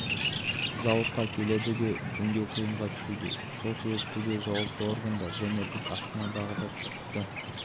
сұрыптап жинауды енгізуді қолға алып жатырмыз яғни қайта өңдеуге болатын барлық затты сары контейнерге салу